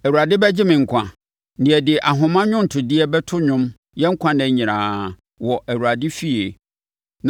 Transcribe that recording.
Awurade bɛgye me nkwa, na yɛde ahoma nnwontodeɛ bɛto nnwom yɛn nkwa nna nyinaa wɔ Awurade efie.